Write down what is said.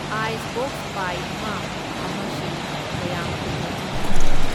Icebox ꯄꯥꯏ ꯑꯃ ꯑꯃꯁꯤ ꯀꯌꯥꯝ ꯀꯨꯢꯅ ꯏꯪꯍꯟꯒꯅꯤ?